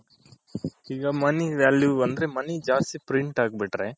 ಈಗ money value ಅಂದ್ರೆ money ಜಾಸ್ತಿ print ಆಗ್ ಬಿಟ್ರೆ.